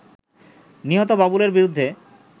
নিহত বাবুলের বিরুদ্ধে